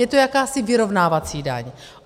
Je to jakási vyrovnávací daň.